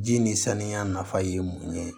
Ji ni saniya nafa ye mun ye